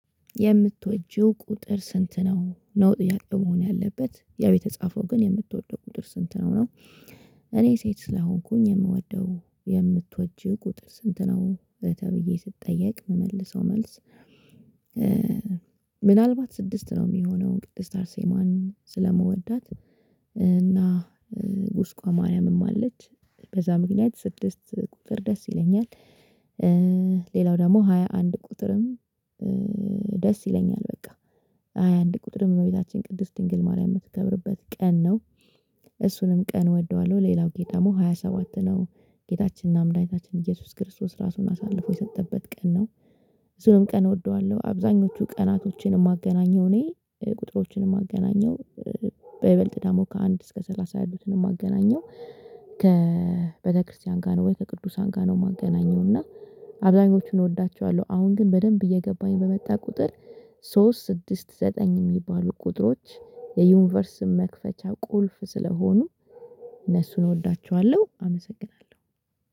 የምትወጂው ቁጥር ስንት ነው ነው ጥያቄው መሆን ያለበት ያው የተጻፈው ግን የምትወደው ቁጥር ስንት ነው ነው? እኔ ሴት ስለሆንኩኝ የምወደው የምትወጂ ቁጥር ስንት ነው ተብዬ ስጠየቅ ምመልሰው መልስ። ምናልባት ስድስት ነው ሚሆነው ቅድስት አርሴማን ስለምወዳት እና ቁስቋም ማርያምም አለች በዛ ምክንያት ስድስት ቁጥር ደስ ይለኛል። ሌላው ደግሞ ሃያ አንድ ቁጥርም። ደስ ይለኛል። በቃ ምናልባት ስድስት ነው ሚሆነው ቅድስት አርሴማን ስለምወዳት። እና ቁስቋም ማርያምም አለች በዛ ምክንያት ስድስት። ቁጥር ደስ ይለኛል ሌላው ደግሞ ሃያ አንድ ቁጥርም ደስ ይለኛል። በቃ ብዙም ቀን እወደዋለሁ። አብዛኞቹ ቀናቶችን ማገናኘው እኔ ቁጥሮችን ማገናኘው። በይበልጥ ደግሞ ከአንድ እስከ ሰላሳ ያሉትን ማገናኘው። ከቤተክርስቲያን ጋ ነው ወይ ከቅዱሳን ጋ ነው ማገናኘው? እና አብዛኞቹን እወዳቸዋለሁ። አሁን ግን በደንብ እየገባኝ በመጣ ቁጥር። ሶስት ስድስት ዘጠኝ ሚባሉ ቁጥሮች። ዩኒቨርስ መክፈቻ ቁልፍ ስለሆኑ እነሱን እወዳቸዋለሁ። አመሰግናለሁ